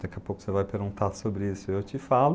Daqui a pouco você vai perguntar sobre isso e eu te falo.